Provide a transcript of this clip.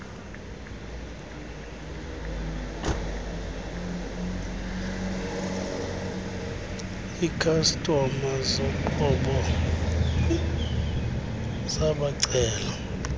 ikhastoma zoqobo wabacela